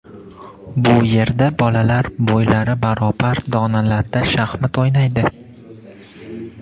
Bu yerda bolalar bo‘ylari barobar donalarda shaxmat o‘ynaydi.